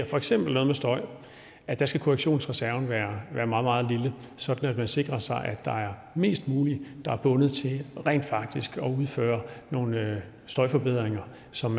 for eksempel noget med støj at der skal korrektionsreserven være meget meget lille sådan at man sikrer sig at der er mest muligt der er bundet til rent faktisk at udføre nogle støjforbedringer som